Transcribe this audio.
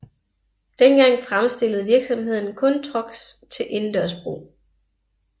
Dengang fremstillede virksomheden kun trucks til indendørs brug